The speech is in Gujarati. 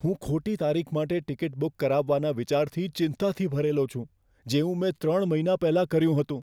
હું ખોટી તારીખ માટે ટિકિટ બુક કરાવવાના વિચારથી ચિંતાથી ભરેલો છું, જેવું મેં ત્રણ મહિના પહેલાં કર્યું હતું.